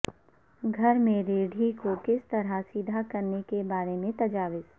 گھر میں ریڑھائی کو کس طرح سیدھا کرنے کے بارے میں تجاویز